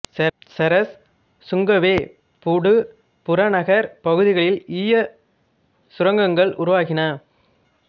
Cheras Sungai Way Pudu புறநகர்ப் பகுதிகளில் ஈயச் சுரங்கங்கள் உருவாகின